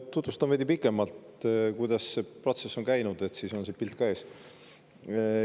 Tutvustan veidi pikemalt, kuidas see protsess on käinud, siis on see pilt ees.